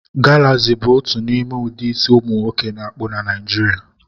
Galaxi bụ otu n'ime ụdị isi ụmụnwoke na-akpu na Naijiria